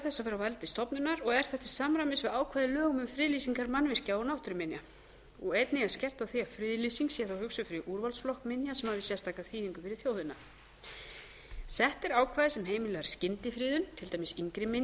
á valdi stofnunar og er það til samræmis við ákvæði í lögum um friðlýsingar mannvirkja og náttúruminja einnig er skerpt á því að friðlýsing sé þá hugsuð fyrir úrvalsflokk minja sem hafi sérstaka þýðingu fyrir þjóðina áttunda sett er ákvæði sem heimilar skyndifriðun til dæmis yngri minja sem